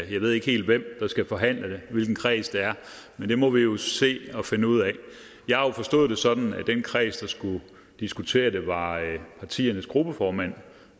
ved ikke helt hvem der skal forhandle det og hvilken kreds det er men det må vi jo se og finde ud af jeg har jo forstået det sådan at den kreds der skulle diskutere det var partiernes gruppeformænd